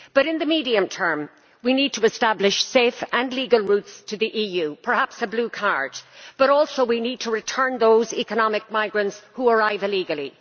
But in the medium term, we need to establish safe and legal routes to the EU, and perhaps a blue card, but also we need to return those economic migrants who arrive illegally.